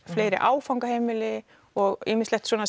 fleiri áfangaheimili og ýmislegt svona